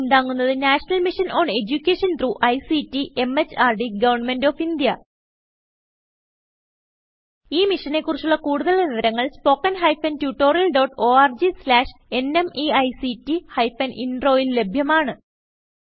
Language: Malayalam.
ഇതിനെ പിന്താങ്ങുന്നത് national mission on education through ICT MHRD government of India ഈ മിഷനെ കുറിച്ചുള്ള കുടുതൽ വിവരങ്ങൾ spoken hyphen tutorial dot org slash NMEICT hyphen Introൽ ലഭ്യമാണ്